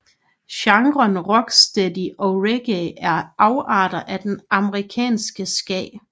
Genrerne rocksteady og reggae er afarter af den jamaicanske ska